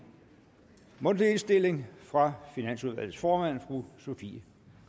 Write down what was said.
mundtlig indstilling fra finansudvalgets formand fru sofie